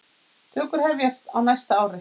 Tökur hefjast á næsta ári.